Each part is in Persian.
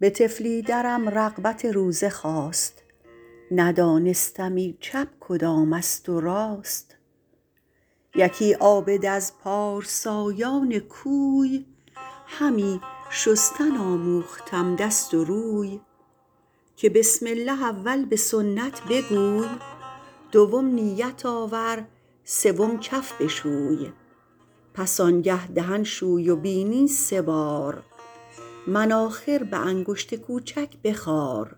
به طفلی درم رغبت روزه خاست ندانستمی چپ کدام است و راست یکی عابد از پارسایان کوی همی شستن آموختم دست و روی که بسم الله اول به سنت بگوی دوم نیت آور سوم کف بشوی پس آن گه دهن شوی و بینی سه بار مناخر به انگشت کوچک بخار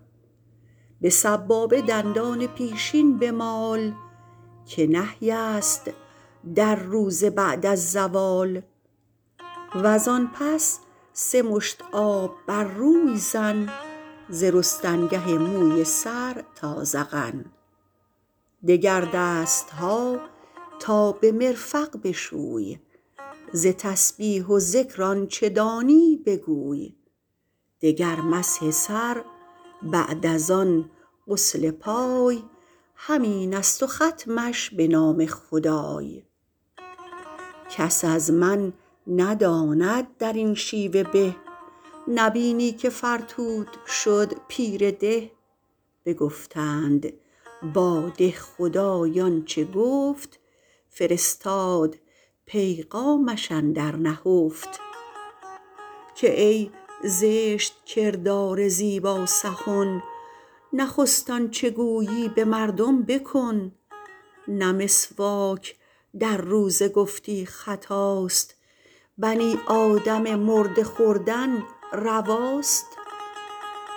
به سبابه دندان پیشین بمال که نهی است در روزه بعد از زوال وز آن پس سه مشت آب بر روی زن ز رستنگه موی سر تا ذقن دگر دستها تا به مرفق بشوی ز تسبیح و ذکر آنچه دانی بگوی دگر مسح سر بعد از آن غسل پای همین است و ختمش به نام خدای کس از من نداند در این شیوه به نبینی که فرتوت شد پیر ده بگفتند با دهخدای آنچه گفت فرستاد پیغامش اندر نهفت که ای زشت کردار زیبا سخن نخست آنچه گویی به مردم بکن نه مسواک در روزه گفتی خطاست بنی آدم مرده خوردن رواست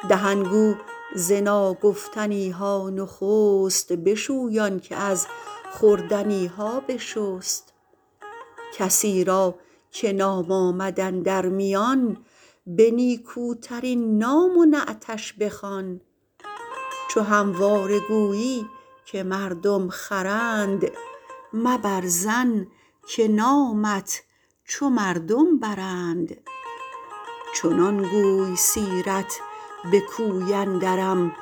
دهن گو ز ناگفتنیها نخست بشوی آن که از خوردنیها بشست کسی را که نام آمد اندر میان به نیکوترین نام و نعتش بخوان چو همواره گویی که مردم خرند مبر ظن که نامت چو مردم برند چنان گوی سیرت به کوی اندرم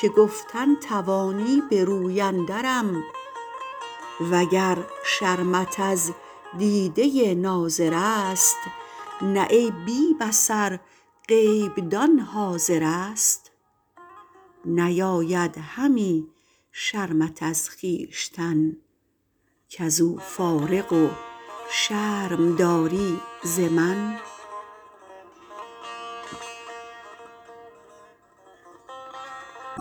که گفتن توانی به روی اندرم وگر شرمت از دیده ناظر است نه ای بی بصر غیب دان حاضر است نیاید همی شرمت از خویشتن کز او فارغ و شرم داری ز من